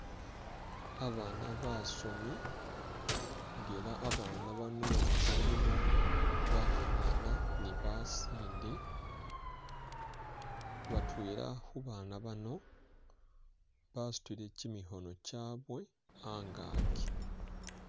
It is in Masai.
Babaana basoomi nga ela babaana bano mulimo bakhaana ne basinde, batwela khubaana bano basutile kimikhoono chabwe a'ngaki